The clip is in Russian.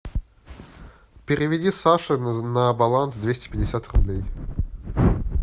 переведи саше на баланс двести пятьдесят рублей